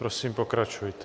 Prosím, pokračujte.